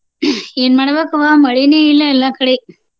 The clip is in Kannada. ಏನ ಮಾಡ್ಬೇಕ್ವಾ ಮಳಿನ ಇಲ್ಲ ಎಲ್ಲ ಕಡೆ.